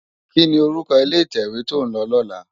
Kini órúkò ilé itèwé tó n lò lòlá?